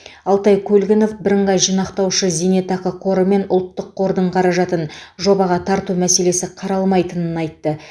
алтай көлгінов бірыңғай жинақтаушы зейнетақы қоры мен ұлттық қордың қаражатын жобаға тарту мәселесі қаралмайтынын айтты